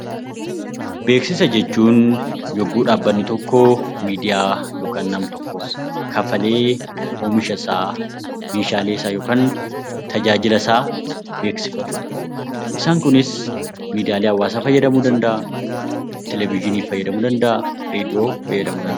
Beeksisa jechuun yogguu dhaabbanni tokko yookaan nama tokkoof kanfalee oomishasaa, meeshaaleesaa yookaan tajaajila isaa beeksifatu beeksisaan kunis miidiyaalee hawaasaa fayyadamuu danda'a televijinii fayyadamuu danda'a